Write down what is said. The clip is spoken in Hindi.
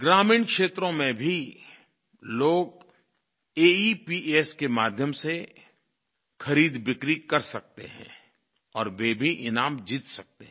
ग्रामीण क्षेत्रों में भी लोग एईपीएस के माध्यम से खरीदबिक्री कर सकते हैं और वे भी ईनाम जीत सकते हैं